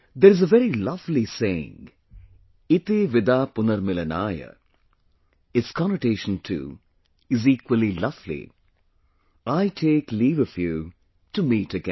There is a very lovely saying – ‘Iti Vida Punarmilanaaya’, its connotation too, is equally lovely, I take leave of you, to meet again